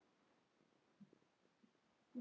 Hlógum og hlógum.